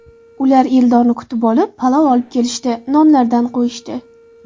Ular Eldorni kutib olib, palov olib kelishdi, nonlardan qo‘yishdi.